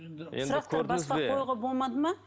енді сұрақтар болмады ма